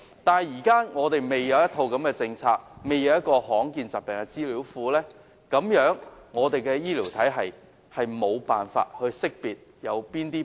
不過，香港現時尚未制訂這樣的一套政策，亦未建立罕見疾病資料庫，所以我們的醫療體系無法辨識誰患病。